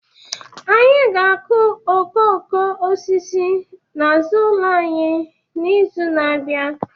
Anyị ga akụ okooko osisi n'azụ ụlọ anyị n'izu n'abia